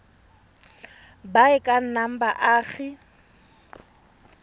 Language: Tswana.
ba e ka nnang baagi